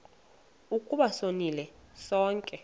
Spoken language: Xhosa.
ukuba sonile sonke